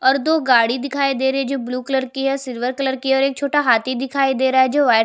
और दो गाड़ी दिखाई दे रही है जो ब्लू कलर की है सिल्वर कलर की है और एक छोटा हाथी दिखाई दे रहा है जो व्हाइट --